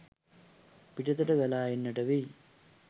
පිටතට ගලා එන්නට වෙයි